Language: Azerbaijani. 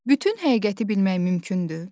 Bütün həqiqəti bilmək mümkündür?